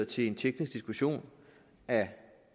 til en teknisk diskussion af